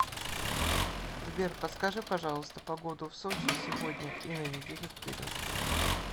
сбер подскажи пожалуйста погоду в сочи сегодня и на неделю вперед